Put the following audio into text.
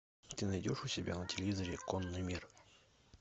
ты найдешь у себя на телевизоре конный мир